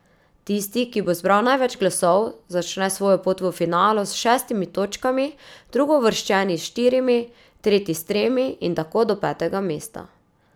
Tisti, ki bo zbral največ glasov, začne svojo pot v finalu s šestimi točkami, drugouvrščeni s štirimi, tretji s tremi in tako do petega mesta.